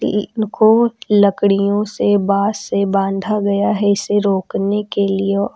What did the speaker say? इनको लकड़ियों से बांस से बंधा गया हैं इसे रोकने के लिए औ--